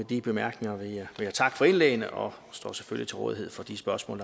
de bemærkninger vil jeg takke for indlæggene og står selvfølgelig til rådighed for de spørgsmål